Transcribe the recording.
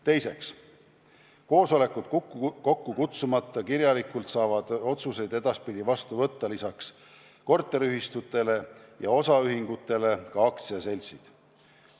Teiseks, koosolekut kokku kutsumata saavad otsused edaspidi kirjalikult vastu võtta lisaks korteriühistutele ja osaühingutele ka aktsiaseltsid.